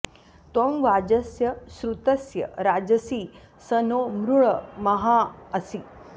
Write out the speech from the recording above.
त्वं वाज॑स्य॒ श्रुत्य॑स्य राजसि॒ स नो॑ मृळ म॒हाँ अ॑सि